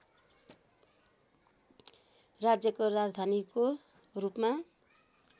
राज्यको राजधानीको रूपमा